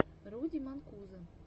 руди манкузо